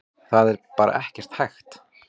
Það er bara ekkert hægt.